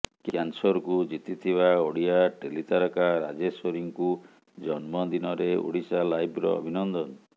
କ୍ୟାନ୍ସରକୁ ଜିତିଥିବା ଓଡ଼ିଆ ଟେଲି ତାରକା ରାଜେଶ୍ୱରୀଙ୍କୁ ଜନ୍ମଦିନରେ ଓଡ଼ିଶାଲାଇଭ୍ର ଅଭିନନ୍ଦନ